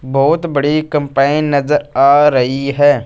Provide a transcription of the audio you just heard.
बहुत बड़ी कंपाइ नजर आ रही है।